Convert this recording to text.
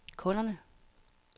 kunderne